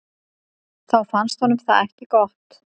Þá fannst honum það ekki gott.